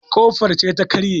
kofar ce ta karye